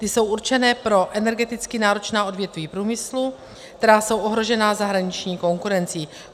Ty jsou určené pro energeticky náročná odvětví průmyslu, která jsou ohrožená zahraniční konkurencí.